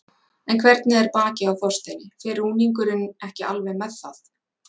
En hvernig er bakið á Þorsteini, fer rúningurinn ekki alveg með það?